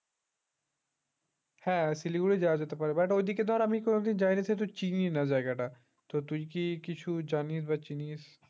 হ্যাঁ শিলিগুড়ি যাওয়া যেতে পারে but ঐদিকে ধর আমি কোনদিন যাইনি সে তো চিনিই না জায়গাটা বা তুই কি কিছু জানিস বা স চিনিস